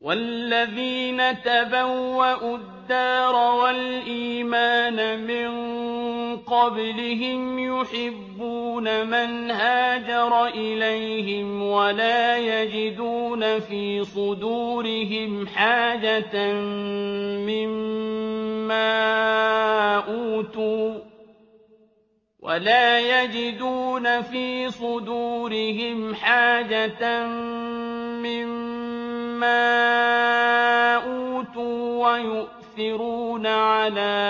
وَالَّذِينَ تَبَوَّءُوا الدَّارَ وَالْإِيمَانَ مِن قَبْلِهِمْ يُحِبُّونَ مَنْ هَاجَرَ إِلَيْهِمْ وَلَا يَجِدُونَ فِي صُدُورِهِمْ حَاجَةً مِّمَّا أُوتُوا وَيُؤْثِرُونَ عَلَىٰ